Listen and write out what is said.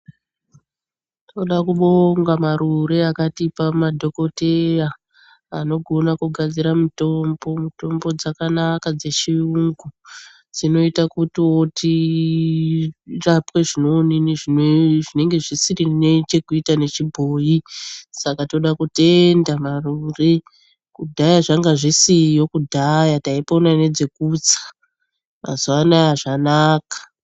Tinoda kubonga Marure akatipa madhokoteya anokona kugadzira mitombo. Mitombo dzakanaka dzechiyungu dzinoita kuti tirapwa zvinenge zvisinei nechiboi. Saka toda kutenda Marure kudhaya dzanga dzisiyo. Kudhaya taipona nedzekutsa. Mazuva ano zvanaka.